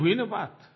ये हुई न बात